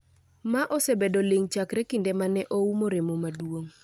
ma osebedo ling’ chakre kinde ma ne oumo remo maduong’